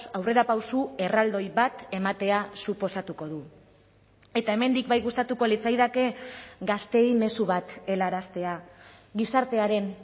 aurrerapauso erraldoi bat ematea suposatuko du eta hemendik bai gustatuko litzaidake gazteei mezu bat helaraztea gizartearen